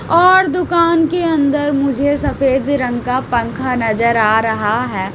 और दुकान के अंदर मुझे सफेद रंग का पंखा नजर आ रहा है।